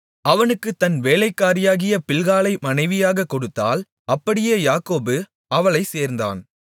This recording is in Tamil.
அவனுக்குத் தன் வேலைக்காரியாகிய பில்காளை மனைவியாகக் கொடுத்தாள் அப்படியே யாக்கோபு அவளைச் சேர்ந்தான்